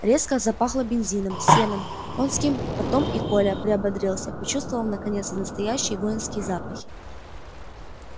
резко запахло бензином сеном конским потом и коля приободрился почувствовав наконец настоящие воинские запахи